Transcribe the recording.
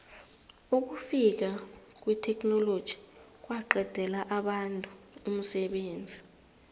ukufika kwetheknoloji kwaqedela abantu umsebenzi